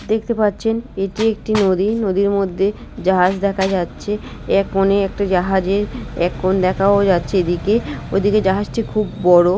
দেখতে পাচ্ছেন এটি একটি নদী নদীর মধ্যে জাহাজ দেখা যাচ্ছে এক কোনে একটি জাহাজের এখন দেখাও যাচ্ছে এদিকে ওদিকে জাহাজটি খুব বড়।